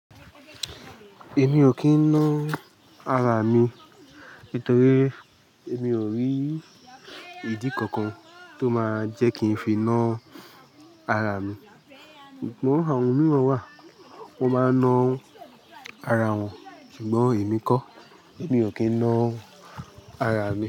Èmi ò kì n ná ara mi nítorí èmi ò rí ìdí kankan tó máa jẹ́ kí n fi ná ara mi. Ṣùgbọ́n àwọn mìíràn wà, wọ́n máa ná ara wọn. Ṣùgbọ́n èmi kọ́, èmi ò kì n ná ara mi.